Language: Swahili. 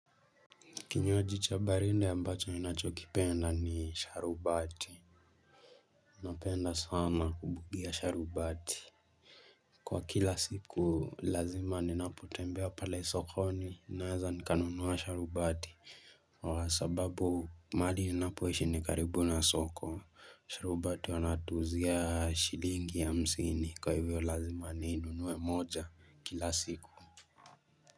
Kinywaji cha baridi ambacho ninachokipenda ni sharubati Napenda sana kubugia sharubati Kwa kila siku lazima ninapotembea pale sokoni naeza nikanunua sharubati kwa sababu mahali ninapoishi ni karibu na soko sharubati wanatuuzia shilingi ya hamsini kwa hivyo lazima ninue moja kila siku.